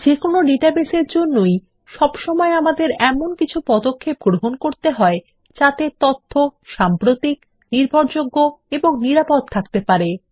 যেকোনো base database এর জন্যই সবসময় আমাদের কিছু পদক্ষেপ গ্রহণ করতে হবে যাতে তথ্য সাম্প্রতিক নির্ভরযোগ্য ও নিরাপদ থাকতে পারে